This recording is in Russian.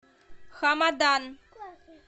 хамадан